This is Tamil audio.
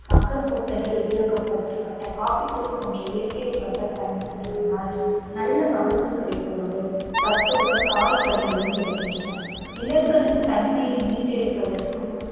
மக்கும் குப்பைகள் உபயோகப்படுத்தப்பட்ட coffee த்தூள் போன்ற இயற்கை உரங்கள் பயன்படுத்தவதனால் நல்ல மகசூல் கிடைப்பதோடு சத்துள்ள காய் கனிகளும் கிடைக்கின்றன நிலங்களின் தன்மையை மீட்டெடுப்பதற்கும்